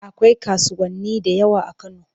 Akwai kasuwanni da yawa a Kano.